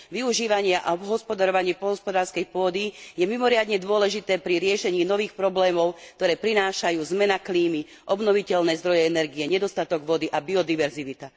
Využívanie a obhospodarovanie poľnohospodárskej pôdy je mimoriadne dôležité pri riešení nových problémov, ktoré prinášajú zmena klímy, obnoviteľné zdroje energie, nedostatok vody a biodiverzita.